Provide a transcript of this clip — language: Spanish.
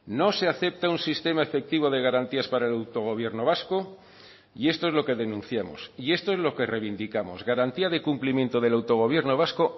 no se acepta un sistema efectivo de garantías para el autogobierno vasco y esto es lo que denunciamos y esto es lo que reivindicamos garantía de cumplimiento del autogobierno vasco